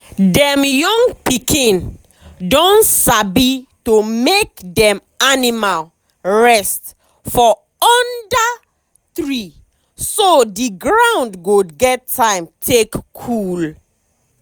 dem young pikin don sabi to make dem animal rest for under treeso the ground go get time take cool.